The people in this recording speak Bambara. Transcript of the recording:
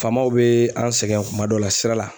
Faamaw bɛ an sɛgɛn kuma dɔw la sira la.